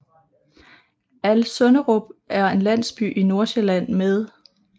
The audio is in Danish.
Alsønderup er en landsby i Nordsjælland med